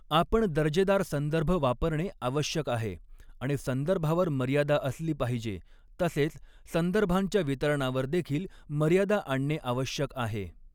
आपण दर्जेदार संदर्भ वापरणे आवश्यक आहे आणि संदर्भावर मर्यादा असली पाहिजे तसेच संदर्भांच्या वितरणावर देखील मर्यादा आणणे आवश्यक आहे.